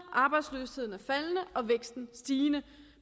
arbejdsløsheden er faldende og væksten er stigende